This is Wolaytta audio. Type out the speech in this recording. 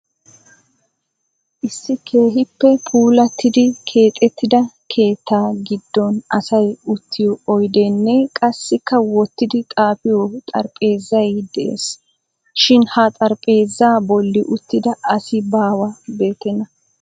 Issi keehippe puulattidi keexxettida keetta giddon asay uttiyo oyddenne qassikka wottidi xaafiyo xaraphpheezzay de'ees. Shin ha xaraphpheezza bolli uttida asi baawa beettena.